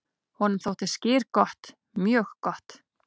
"""Honum þótti skyr gott, mjög gott."""